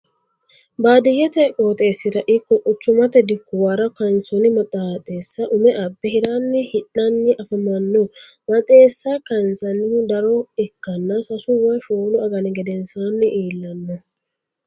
baadiyyete qooxeesira ikko quchummate dikkuwara kaansoonni maxeessa ume abbe hiranni hidhanni affamanno. maxeessa kaansannihu daro ikkanna sasu woy shoolu agani gedensaanni iillanno.